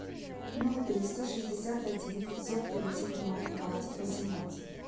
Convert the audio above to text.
ноль триста шестьдесят один пятьсот тридцать ноль двадцать восемнадцать